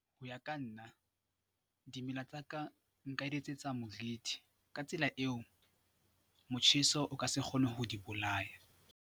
Ho ya ka nna dimela tsa ka nka di etsetsa moriti ka tsela eo motjheso o ka se kgone ho di bolaya.